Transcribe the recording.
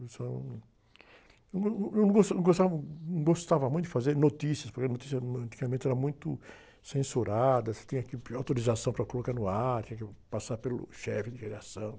Locução eu não, eu não go, eu não go, eu não gosta, eu não gostava, eu não gostava muito de fazer notícias, porque notícia, hum, ãh, antigamente era muito censurada, tinha que pedir autorização para colocar no ar, tinha que passar pelo chefe de redação.